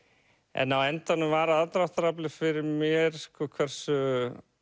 en á endanum var aðdráttaraflið fyrir mér sko hversu